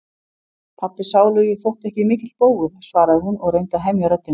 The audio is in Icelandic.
Pabbi sálugi þótti ekki mikill bógur, svaraði hún og reyndi að hemja röddina.